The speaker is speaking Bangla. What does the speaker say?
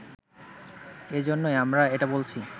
এজন্যই আমরা এটা বলছি